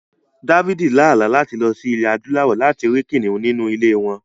David lá àlá láti lọ sí Ilẹ̀ Adúláwọ̀ láti rí kìnnìún nínú ilé wọn.